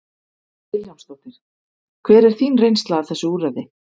Hödd Vilhjálmsdóttir: Hver er þín reynsla af þessu úrræði?